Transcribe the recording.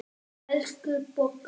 Elsku Bogga.